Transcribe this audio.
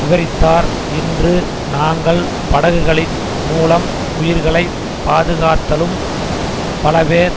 விபரித்தார் இன்று நாங்கள் படகுகளின் மூலம் உயிர்களை பாதுகாத்தாலும் பலபேர்